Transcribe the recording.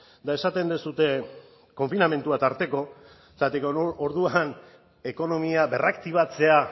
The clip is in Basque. eta esaten duzue konfinamendua tarteko zergatik orduan ekonomia berraktibatzea